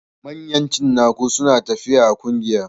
Manyan cinnaku sunatafiya a kungiya